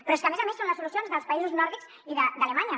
però és que a més a més són les solucions dels països nòrdics i d’alemanya